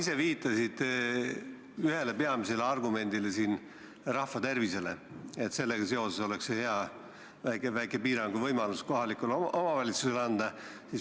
Sa viitasid ühele peamisele argumendile, rahva tervisele, et sellega seoses oleks hea väike piiranguvõimalus kohalikule omavalitsusele anda.